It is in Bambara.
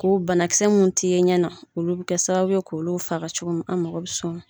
Ko banakisɛ mun ti ye ɲɛ na, olu bi kɛ sababu ye k'olu faga cogo min an mago bi s'o ma